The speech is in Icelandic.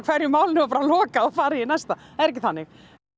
einu máli lokað og farið í næsta það er ekki þannig